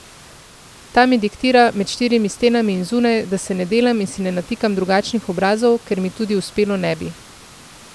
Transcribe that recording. Ta mi diktira, med štirimi stenami in zunaj, da se ne delam in si ne natikam drugačnih obrazov, ker mi tudi uspelo ne bi.